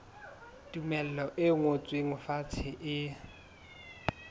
tumello e ngotsweng fatshe e